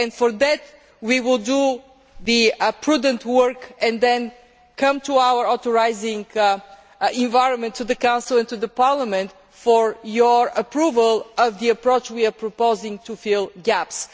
For that we will do the prudent work and then come to our authorising environment, to the Council and to Parliament, for your approval of the approach we are proposing to fill gaps.